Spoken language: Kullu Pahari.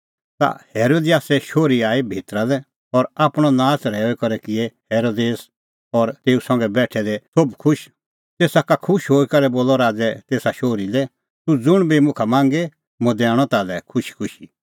ता हेरोदियासे शोहरी आई भितरा लै और आपणअ नाच़ रहैऊई करै किऐ हेरोदेस और तेऊ संघै बेठै दै सोभ खुश तेसा का खुश हई करै बोलअ राज़ै तेसा शोहरी लै तूह ज़ुंण बी मुखा मांगे मुंह दैणअ ताल्है खुशीखुशी